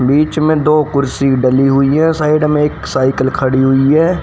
बीच में दो कुर्सी डली हुई है साइड में एक सायकल खड़ी हुई है।